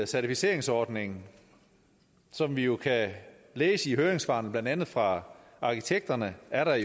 certificeringsordningen som vi jo kan læse i høringssvarene blandt andet fra arkitekterne er der